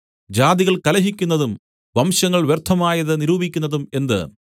ജാതികൾ കലഹിക്കുന്നതും വംശങ്ങൾ വ്യർത്ഥമായത് നിരൂപിക്കുന്നതും എന്ത്